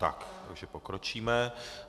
Tak, takže pokročíme.